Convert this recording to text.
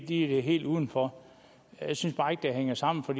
er helt udenfor jeg synes bare ikke det hænger sammen for